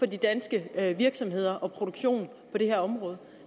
de danske virksomheder og produktionen på det her område